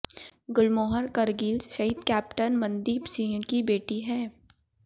गुरमोहर करगिल शहीद कैप्टन मनदीप सिंह की बेटी हैं